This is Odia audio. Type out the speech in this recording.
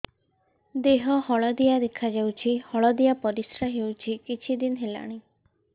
ଦେହ ହଳଦିଆ ଦେଖାଯାଉଛି ହଳଦିଆ ପରିଶ୍ରା ହେଉଛି କିଛିଦିନ ହେଲାଣି